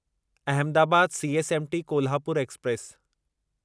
Ahmedabad CSMT Kolhapur express